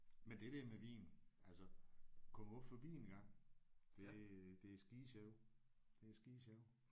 Men det der med vin. Altså kom du forbi engang. Det det er skidesjovt. Det er skidesjovt